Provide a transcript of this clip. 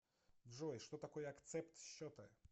джой что такое акцепт счета